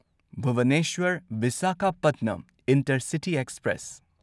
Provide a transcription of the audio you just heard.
Bhubaneswar Visakhapatnam intercity express